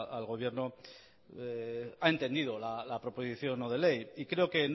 al gobierno ha entendido la proposición no de ley y creo que